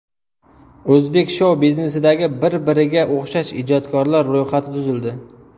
O‘zbek shou-biznesidagi bir-biriga o‘xshash ijodkorlar ro‘yxati tuzildi.